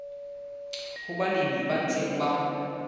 ho balemi ba ntseng ba